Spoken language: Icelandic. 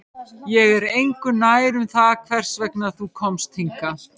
Ég er engu nær um það hvers vegna þú komst hingað